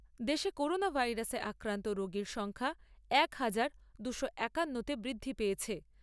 দেশে করোনা ভাইরাসে আক্রান্ত রোগীর সংখ্যা এক হাজার দুশো বাহান্ন তে বৃদ্ধি পেয়েছে।